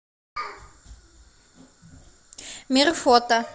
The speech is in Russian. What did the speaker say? мир фото